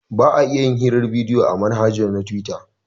Ba a iya yin hirar bidiyo a manhaja na tuwita